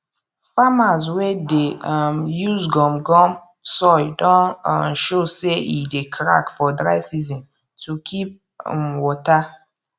farmers wey dey um use gum gum soil don um show say e dey crack for dry season to keep um water